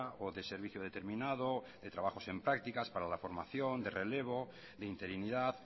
o de servicio determinado o de trabajos en prácticas para la formación de relevo de interinidad